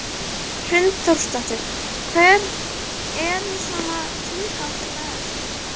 Hrund Þórsdóttir: Hver er svona tilgangur með þessu?